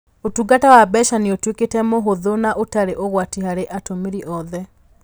Ũtungata wa mbeca nĩ ũtuĩkĩte mũhũthũ na ũtarĩ ũgwati harĩ atũmĩri othe.